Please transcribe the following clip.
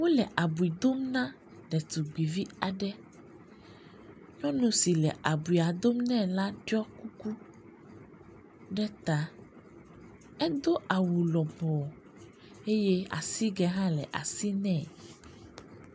Wole abi dom na ɖetugbivi aɖe. Nyɔnu si le abui dom nɛ la ɖɔ kuku ɖe ta. Edo awu lɔbɔ eye asigɛ hã le asi nɛ.